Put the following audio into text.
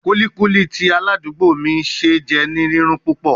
Kulikuli ti aladugbo mi ṣe jẹ ni rirun pupọ